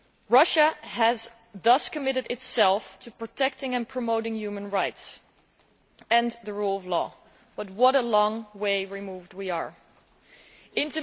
Russia has thus committed itself to protecting and promoting human rights and the rule of law, but what a long way we are from that situation.